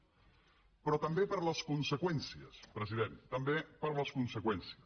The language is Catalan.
però també per les conseqüències president també per les conseqüències